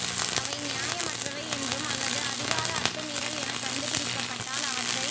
அவை நியாயமற்றவை என்றும் அல்லது அதிகார அத்துமீறல் எனக் கண்டு பிடிக்கப்பட்டால் அவற்றை